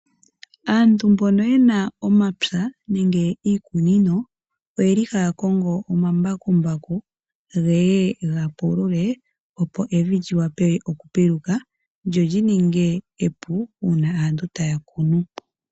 Aantu mboka yena omapya nenge iikunino ohaya kongo omambakumbaku ngeye gapulule opo evi lyi wape okupiluka lyo lyi ninge epu uuna aantu taya kunu.